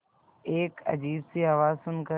एक अजीब सी आवाज़ सुन कर